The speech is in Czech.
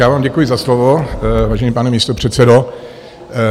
Já vám děkuji za slovo, vážený pane místopředsedo.